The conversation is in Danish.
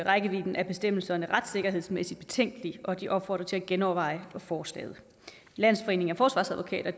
rækkevidden af bestemmelserne retssikkerhedsmæssigt betænkelige og de opfordrer til at genoverveje forslaget landsforeningen af forsvarsadvokater